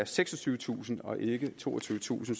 seksogtyvetusind kroner og ikke toogtyvetusind